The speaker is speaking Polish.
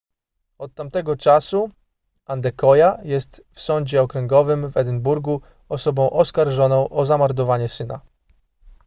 od tamtego czasu adekoya jest w sądzie okręgowym w edynburgu osobą oskarżoną o zamordowanie syna